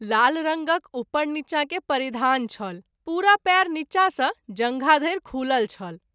लाल रंगक उपर नीचा के परिधान छल पूरा पैर नीचा सँ जँधा धरि खूलल छल।